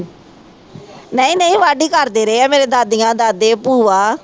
ਨਹੀਂ ਨਹੀਂ ਵਾਢੀ ਕਰਦੇ ਰਹੇ ਆ ਮੇਰੇ ਦਾਦੀਆਂ ਦਾਦੇ ਭੂਆ